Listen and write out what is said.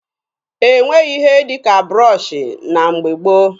E nweghị ihe dị ka broshuọ na mgbe gboo.